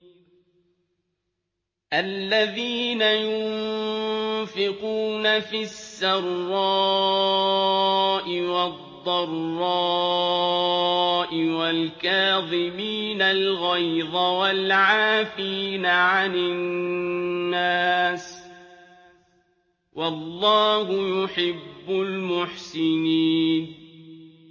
الَّذِينَ يُنفِقُونَ فِي السَّرَّاءِ وَالضَّرَّاءِ وَالْكَاظِمِينَ الْغَيْظَ وَالْعَافِينَ عَنِ النَّاسِ ۗ وَاللَّهُ يُحِبُّ الْمُحْسِنِينَ